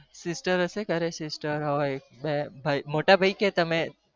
Sister હશે ઘરે મોટા ભાઈ કે તમે